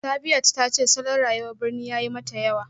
Sabiyat ta ce salon rayuwar birni ya yi mata yawa